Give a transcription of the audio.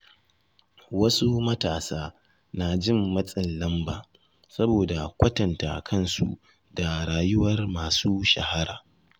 Wasu matasa na jin matsin lamba saboda kwatanta kansu da rayuwar masu shahara.